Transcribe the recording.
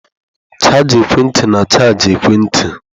Chaja ekwentị na-achaji ekwentị.